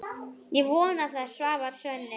Ég vona það, svarar Svenni.